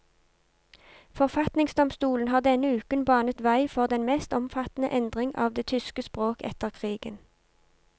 Forfatningsdomstolen har denne uken banet vei for den mest omfattende endring av det tyske språk etter krigen.